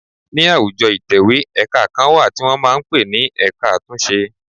Ní àwùjọ ìtẹ̀wẹ́ ẹ̀ka kan wà tí wọn máa ń pe ní ẹ̀ka àtúnṣe.